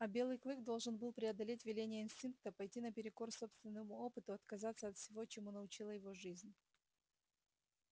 а белый клык должен был преодолеть веления инстинкта пойти наперекор собственному опыту отказаться от всего чему научила его жизнь